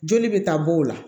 Joli bɛ taa b'o la